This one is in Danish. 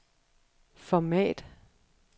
format